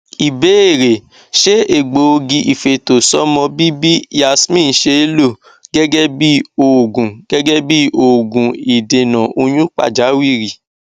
ìbéèrè ṣé egbogi ifeto somo bibi yasmin see lo gẹgẹ bí oògùn gẹgẹ bí oògùn idena oyun pajawiri